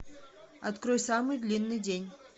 открой самый длинный день